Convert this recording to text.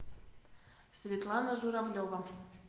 светлана журавлева